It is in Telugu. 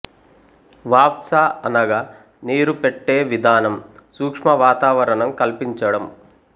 వాఫ్స అనగా నీరు పెట్టే విధానం సూక్ష్మ వాతావరణం కల్పించడం